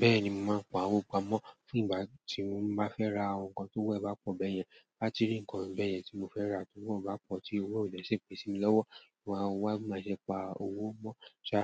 Bẹ́ẹ̀ni, mò máa ń pa owó pamọ́ fún ìgbà tí mò máa fẹ́ ra àwọn nǹkan tó owo ẹ̀ bá pọ̀ bẹ́yẹn. Láti rí nǹkan bẹ́yẹn tí mò fẹ́ rà tí wọ́n bá pọ̀ tí owó ò jẹ́ ṣèpè sími lọ́wọ́, mò máa wá máa se pa owó mọ́. Ṣà,